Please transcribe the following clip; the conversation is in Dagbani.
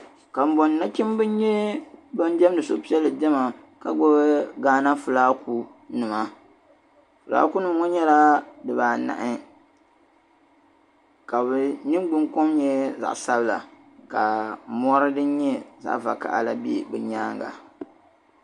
Kabɔŋ nachimbi n nyɛ ban demdi suhu piɛli dema, ka gbubi ghana fulag nima, flag nim ŋɔ nyɛla di ba anahi kabi nin gbun kom nyɛ zaɣisabila, ka mɔri din nyɛ zaɣi vakahali, la be bi nyaaŋa,